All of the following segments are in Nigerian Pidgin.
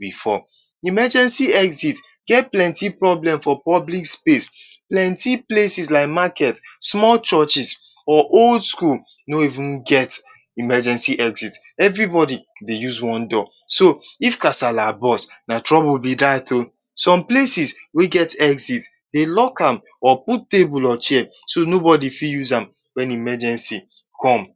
before, emergency exit get plenti problem for public place. Plenti places like maket, small churches or old skul no even get emergency exit. Every bodi dey use one door, so if casala boast na trouble be dat o, som places wey get exit, dey lock am, put table or chairs so no bodi fit use am wen emergency come.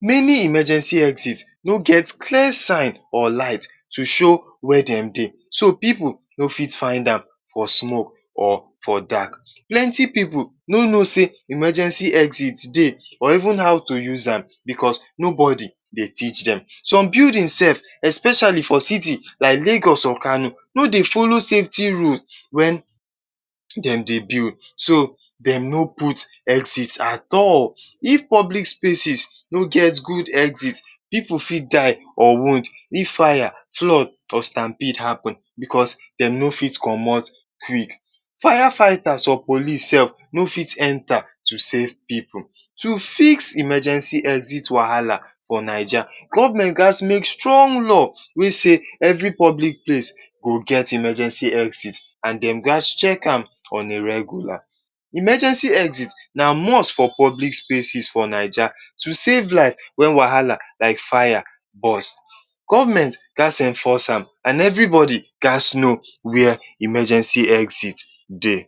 Meni emergency exit wey get clear signs or light to show where dem dey so, pipu no fit find am for smoke or for dark. So plenti pipu no no sey emergency exit dey or even how to use am because nobody dey teach dem especiali for city like Lagos or Kano wey dey folo safety road wen dem dey build. Dem no folo safety road at all. If public place no get gud exit, pipu fit die or wound if fire, flood or stamb B happen because dey no fit comot quick Fire fighter or police no fit enta to safe pipu. To fix emergency exit wahala for Naija, government ghas make strong law wey sey every bodi place go get emergency exit. And dey ghas check am on a regular. Emergency exit na must for Naija to safe life wen wahala like fire boast. Government ghas enforce am and every bodi ghas no where emergency exit dey.